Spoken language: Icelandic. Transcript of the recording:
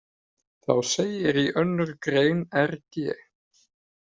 Þá segir í önnur grein rg.